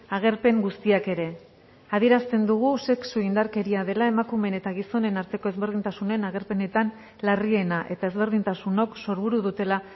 agerpen guztiak ere adierazten dugu sexu indarkeria dela emakumeen eta gizonen arteko ezberdintasunen agerpenetan larriena eta ezberdintasunok sorburu dutela